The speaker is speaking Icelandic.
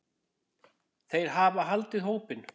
Þeir hafa haldið hópinn.